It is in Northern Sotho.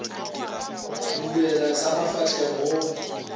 go bulelana sa mafahleng go